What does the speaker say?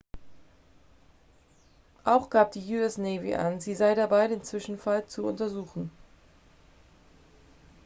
auch gab die us navy an sie sei dabei den zwischenfall zu untersuchen